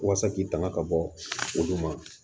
Walasa k'i tanga ka bɔ olu ma